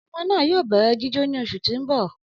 Ọmọ naa yoo bẹrẹ jijo ni oṣu ti n bọ.